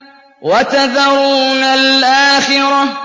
وَتَذَرُونَ الْآخِرَةَ